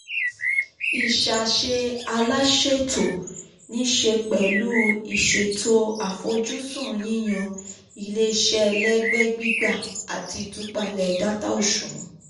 ìṣàṣe aláṣètò um nìṣẹ́ pẹ̀lú ìṣètò àfojúsùn yíyan ilé-iṣẹ́ ẹlẹ́gbẹ́ um gbígbà um àti ìtúpalẹ̀ data òṣùwọ̀n.